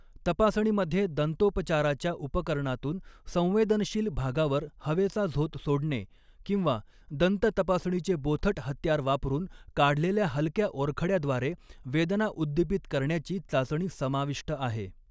तपासणीमध्ये दंतोपचाराच्या उपकरणातून संवेदनशील भागावर हवेचा झोत सोडणे किंवा दंततपासणीचे बोथट हत्यार वापरून काढलेल्या हलक्या ओरखड्याद्वारे वेदना उद्दिपित करण्याची चाचणी समाविष्ट आहे.